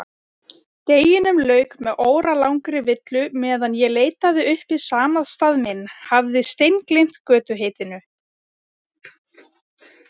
Deginum lauk með óralangri villu meðan ég leitaði uppi samastað minn, hafði steingleymt götuheitinu.